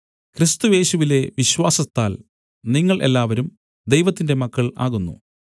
ക്രിസ്തുയേശുവിലെ വിശ്വാസത്താൽ നിങ്ങൾ എല്ലാവരും ദൈവത്തിന്റെ മക്കൾ ആകുന്നു